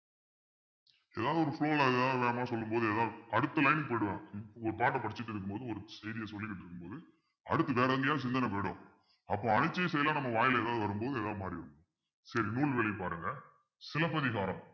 ஏதாவது ஒரு flow ல ஏதாவது சொல்லும் போது ஏதாவது அடுத்த line போயிடுவாங்க ஒரு பாட்டை படிச்சுட்டு இருக்கும்போது ஒரு செய்தியை சொல்லிக்கிட்டு இருக்கும்போது அடுத்து வேற எங்கேயாவது சிந்தனை போயிடும் அப்போ அழிச்சு செய்யலாம் நம்ம வாயில எதாவது வரும்போது எதாவது மாறிடுவோம் சரி நூல்வழி பாருங்க சிலப்பதிகாரம்